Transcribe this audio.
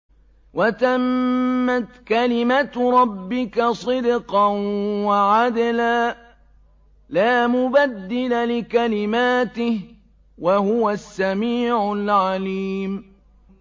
وَتَمَّتْ كَلِمَتُ رَبِّكَ صِدْقًا وَعَدْلًا ۚ لَّا مُبَدِّلَ لِكَلِمَاتِهِ ۚ وَهُوَ السَّمِيعُ الْعَلِيمُ